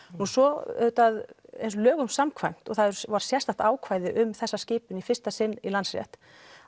svo lögum samkvæmt og það var sérstakt ákvæði um þessa skipun í fyrsta sinn í Landsrétt